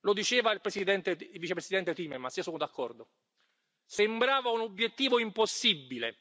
Lo diceva il vicepresidente Timmermans e io sono d'accordo sembrava un obiettivo impossibile